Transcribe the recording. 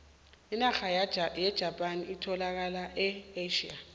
inarha yejapani etholakala e asia